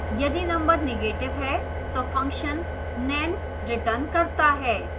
यदि number negative है तो function nan returns करता है